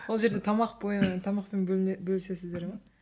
ол жерде тамақ бойы тамақпен бөліне бөлісесіздер ме